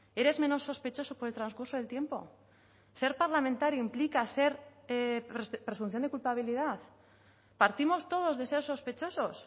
eres menos sospechoso por el transcurso del tiempo ser parlamentario implica ser presunción de culpabilidad partimos todos de ser sospechosos